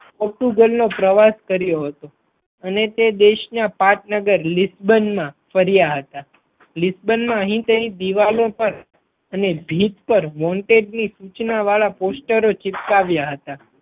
Portugal નો પ્રવાસ કર્યો હતો અને તે દેશ ના પાટનગર લીસબન્ડમાં ફર્યા હતા લીસબન્ડમાં અહીત્ય દીવાલો પર અને ભીત પર Wanted ની સુચના વાડા પોસ્ટરો ચીપકાવ્યા હતા.